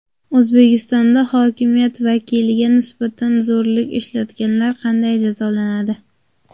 O‘zbekistonda hokimiyat vakiliga nisbatan zo‘rlik ishlatganlar qanday jazolanadi?.